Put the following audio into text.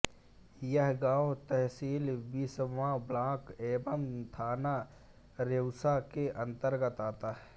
यह गाँव तहसील बिसवां ब्लॉक एवं थाना रेउसा के अंतर्गत आता है